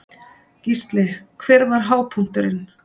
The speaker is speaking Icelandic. Gísli: Hver var hápunkturinn?